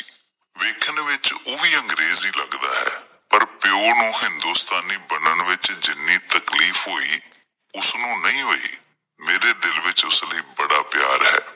ਵੇਖਣ ਵਿੱਚ ਉਹ ਵੀ ਅੰਗਰੇਜ਼ ਹੀ ਲੱਗਦਾ ਹੈ ਪਰ ਪਿਉ ਨੂੰ ਹਿੰਦੋਸਤਾਨੀ ਬਣਨ ਵਿੱਚ ਜਿੰਨੀ ਤਕਲੀਫ ਹੋਈ ਉਸ ਨੂੰ ਨਹੀਂ ਹੋਈ ਮੇਰੇ ਦਿਲ ਵਿੱਚ ਉਸ ਲਈ ਬੜਾ ਪਿਆਰ ਹੈ।